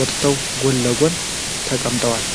ወጥተው ጎን ለጎን ተቀምጠዋል።